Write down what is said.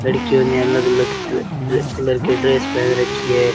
लड़कियों ने अलग अलग अ ड्रे कलर के ड्रेस पहन रखी है।